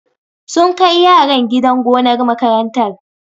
Sun kai yaran gidan gonar makarantar.